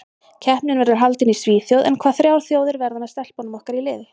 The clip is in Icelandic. Keppnin verður haldin í Svíþjóð en hvaða þrjár þjóðir verða með stelpunum okkar í riðli?